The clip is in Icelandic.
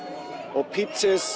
og